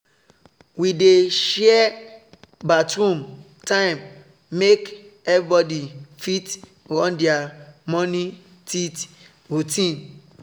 we dey share bathroom time make everybody fit run their morning teeth routine